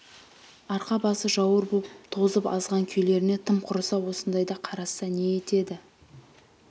арқа-басы жауыр боп тозып азған күйлеріне тым құрыса осындайда қарасса не етеді